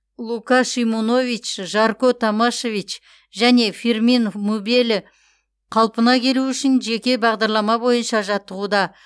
лука шимунович жарко томашевич және фирмин мубеле қалпына келуі үшін жеке бағдарлама бойынша жаттығуда